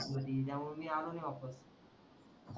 भाजी होती त्यामुळ मी आलो नाही वापस